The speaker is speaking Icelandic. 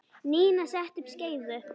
Nína setti upp skeifu.